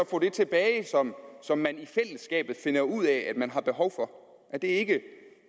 få det tilbage som som man i fællesskabet finder ud af man har behov for er det ikke